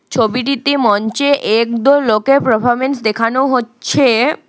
ছবিটিতে মঞ্চে একদল লোকের প্রাফমেন্স দেখানো হচ্ছে।